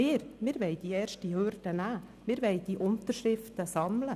Wir wollen die erste Hürde nehmen und Unterschriften sammeln.